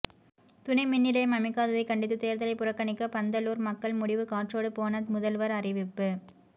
துணை மின்நிலையம் அமைக்காததை கண்டித்து தேர்தலை புறக்கணிக்க பந்தலூர் மக்கள் முடிவு காற்றோடு போன முதல்வர் அறிவிப்பு